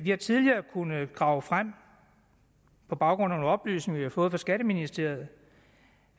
har tidligere kunnet grave frem på baggrund af nogle oplysninger vi har fået fra skatteministeriet